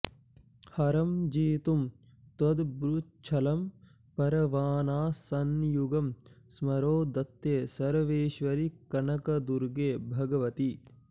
हरं जेतुं त्वद्भ्रूच्छलमपरबाणासनयुगं स्मरो धत्ते सर्वेश्वरि कनकदुर्गे भगवति